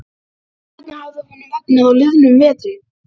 Sóla teikna sel, sagði hún lágt.